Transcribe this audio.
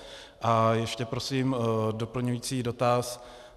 A ještě prosím doplňující dotaz.